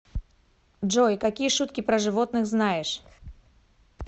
джой какие шутки про животных знаешь